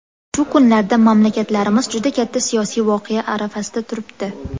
Shu kunlarda mamlakatlarimiz juda katta siyosiy voqea arafasida turibdi.